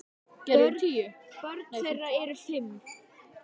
Börn þeirra eru fimm.